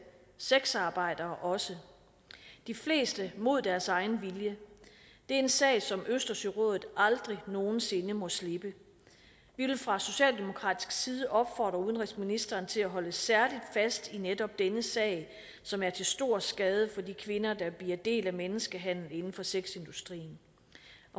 sexarbejdere også de fleste mod deres egen vilje det er en sag som østersørådet aldrig nogen sinde må slippe vi vil fra socialdemokratisk side opfordre udenrigsministeren til at holde særlig fast i netop denne sag som er til stor skade for de kvinder der bliver en del af menneskehandel inden for sexindustrien